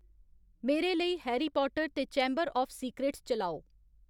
मेरे लेई Harry Potter ते चैंबर आफ सीक्रेट्स चलाओ